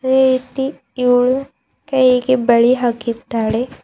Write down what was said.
ಅದೇ ರೀತಿ ಇವ್ಳು ಕೈಗೆ ಬಳಿ ಹಾಕಿದ್ದಾಳೆ.